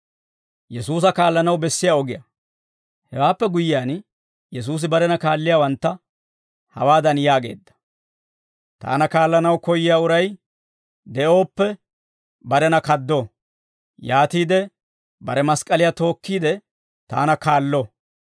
Hewaappe guyyiyaan, Yesuusi barena kaalliyaawantta hawaadan yaageedda; «Taana kaallanaw koyyiyaa uray de'ooppe, barena kaado; yaatiide bare mask'k'aliyaa tookkiide, taana kaallo.